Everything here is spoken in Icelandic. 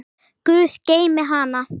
Guð geymi hana.